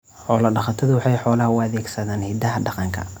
Xoolo-dhaqatodu waxay xoolaha u adeegsadaan hidaha dhaqanka.